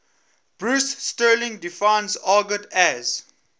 bruce sterling defines argot as